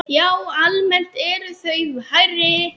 Já, almennt eru þau hærri.